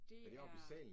Det er